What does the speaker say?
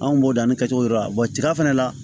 Anw b'o danni kɛcogo dɔ la ja fana la